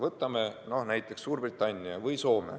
Võtame näiteks Suurbritannia või Soome.